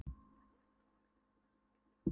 Bættu við eigin hugmyndum um hvernig þú getur LIFAÐ